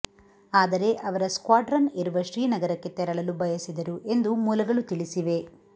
ಆದರೆ ಅವರ ಸ್ಕ್ವಾಡ್ರನ್ ಇರುವ ಶ್ರೀನಗರಕ್ಕೆ ತೆರಳಲು ಬಯಸಿದರು ಎಂದು ಮೂಲಗಳು ತಿಳಿಸಿವೆ